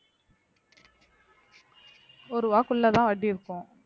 ஒரு ரூபாய் குள்ளதன் வட்டி இருக்கும்